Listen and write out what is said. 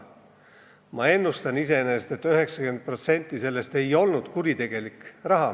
Ma pakun, et 90% sellest ei olnud kuritegelik raha.